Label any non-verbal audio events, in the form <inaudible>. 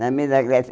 Na <unintelligible>